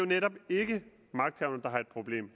netop ikke magthaverne der har et problem